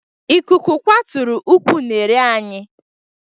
Ikuku kwaturu ụkwụ unere anyị